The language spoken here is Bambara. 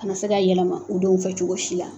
A ma se ka yɛlɛma u denw fɛ cogo si la